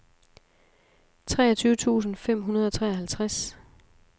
treogtyve tusind fem hundrede og treoghalvtreds